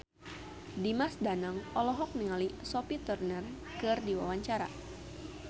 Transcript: Dimas Danang olohok ningali Sophie Turner keur diwawancara